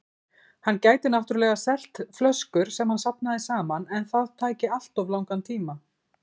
Hann gæti náttúrlega selt flöskur sem hann safnaði saman, en það tæki alltof langan tíma.